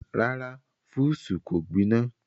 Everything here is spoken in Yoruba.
Rárá, fúùsù kò gbiná.